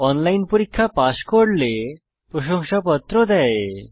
online পরীক্ষা pass করলে প্রশংসাপত্র দেয়